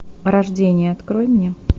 рождение открой мне